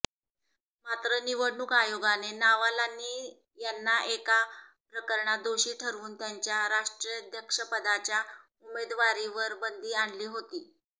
मात्र निवडणूक आयोगाने नावालानी यांना एका प्रकरणात दोषी ठरवून त्यांच्या राष्ट्राध्यक्षपदाच्या उमेदवारीवर बंदी आणली होती